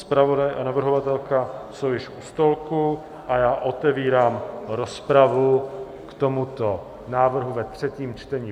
Zpravodaj a navrhovatelka jsou již u stolku a já otevírám rozpravu k tomuto návrhu ve třetím čtení.